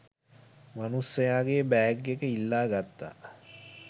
මනුස්සයගෙ bag එක ඉල්ලා ගත්තා.